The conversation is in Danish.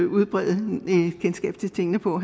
udbrede kendskabet til tingene på